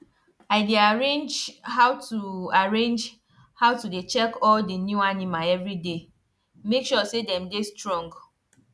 i dey arrange how to arrange how to day check all d new animal everyday make sure say dem dey strong